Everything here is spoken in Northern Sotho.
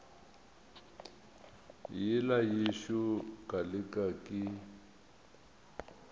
yela yešo ka leke ke